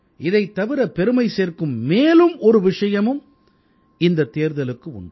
இதைத் தவிர பெருமை சேர்க்கும் மேலும் ஒரு விஷயமும் இந்தத் தேர்தலுக்கு உண்டு